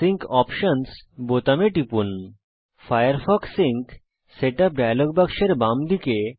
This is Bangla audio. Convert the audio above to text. ফায়ারফক্স সিঙ্ক সেটআপ ডায়লগ বাক্সের বামদিকে সিঙ্ক অপশনস বোতামে টিপুন